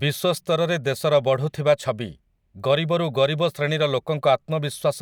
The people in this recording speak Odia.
ବିଶ୍ୱ ସ୍ତରରେ ଦେଶର ବଢ଼ୁଥିବା ଛବି, ଗରିବରୁ ଗରିବ ଶ୍ରେଣୀର ଲୋକଙ୍କ ଆତ୍ମବିଶ୍ୱାସ